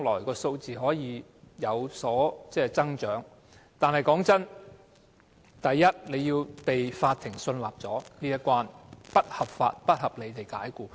"過三關"所指的是，第一關，法院必須信納僱員遭不合法及不合理解僱。